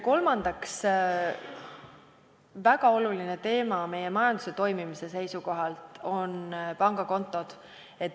Kolmandaks, väga oluline teema meie majanduse toimimise seisukohalt on pangakontod.